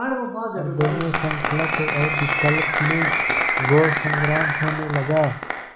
हृदय में संकल्प और विकल्प में घोर संग्राम होने लगा